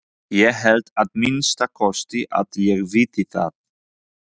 Ég held að minnsta kosti að ég viti það.